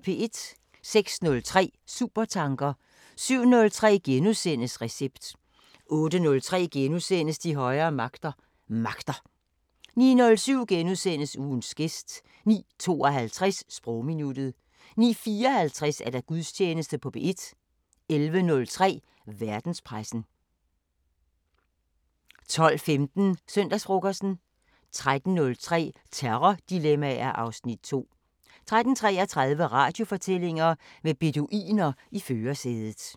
06:03: Supertanker 07:03: Recept * 08:03: De højere magter: Magter * 09:07: Ugens gæst * 09:52: Sprogminuttet 09:54: Gudstjeneste på P1 11:03: Verdenspressen 12:15: Søndagsfrokosten 13:03: Terrordilemmaer (Afs. 2) 13:33: Radiofortællinger: Med beduiner i førersædet